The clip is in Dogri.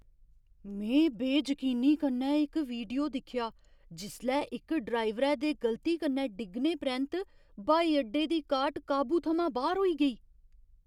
में बेजकीनी कन्नै इक वीडियो दिक्खेआ जिसलै इक ड्राइवरै दे गलती कन्नै डिग्गने परैंत्त ब्हाई अड्डे दी कार्ट काबू थमां बाह्‌र होई गेई।